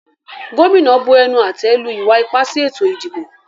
Gómìnà bu ẹnu-àtẹ́ lu ìwa-ipá sí ètò-ìdìbò.